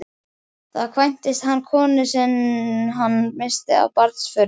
Þá kvæntist hann konunni sem hann missti af barnsförum.